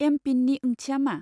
एम.पिन.नि ओंथिया मा?